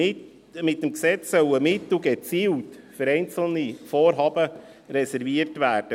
Mit dem Gesetz sollen Mittel gezielt für einzelne Vorhaben reserviert werden.